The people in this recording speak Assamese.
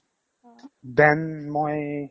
then মই